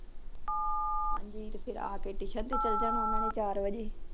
ਹਾਂਜੀ, ਫੇਰ ਆਕੇ ਉਹਨਾਂ ਨੇ ਟਿਊਸ਼ਨ ਤੇ ਚਲੇ ਜਾਣਾ ਚਾਰ ਵਜੇ